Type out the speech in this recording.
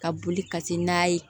Ka boli ka se n'a ye